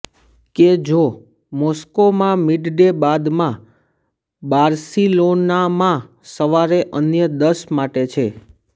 કે જો મોસ્કોમાં મિડડે બાદમાં બાર્સિલોનામાં સવારે અન્ય દસ માટે છે